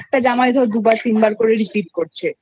করি যে একটা জামাই ধর দুবার তিনবার করে Repeatকরছে